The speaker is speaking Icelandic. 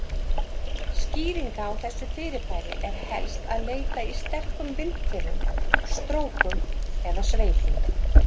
Skýringa á þessu fyrirbæri er helst að leita í sterkum vindhviðum, strókum eða sveipum.